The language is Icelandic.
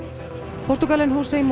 Portúgalinn